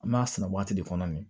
An b'a sɛnɛ waati de kɔnɔ nin